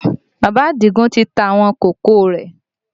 Bàbá Àdìgún ti ta àwọn kòkó rẹ